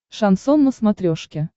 шансон на смотрешке